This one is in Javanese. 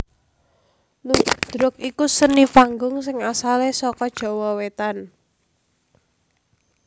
Ludruk iku seni panggung sing asalé saka Jawa Wétan